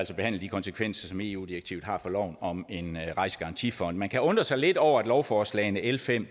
så behandle de konsekvenser som eu direktivet har for loven om en rejsegarantifond man kan undre sig lidt over at lovforslagene l fem